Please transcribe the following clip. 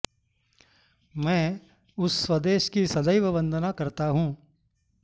मैं उस स्वदेश की सदैव वन्दना करता हूँ